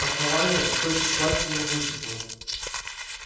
основание источник власти и могущества